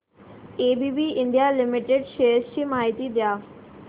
ABB India limited shares ची माहिती द्या